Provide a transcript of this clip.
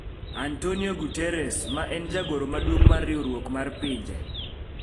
Antonio Guterres, ma en jagoro maduong' mar Riwruok mar Pinje